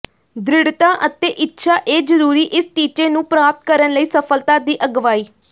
ਦ੍ਰਿੜ੍ਹਤਾ ਅਤੇ ਇੱਛਾ ਇਹ ਜ਼ਰੂਰੀ ਇਸ ਟੀਚੇ ਨੂੰ ਪ੍ਰਾਪਤ ਕਰਨ ਲਈ ਸਫਲਤਾ ਦੀ ਅਗਵਾਈ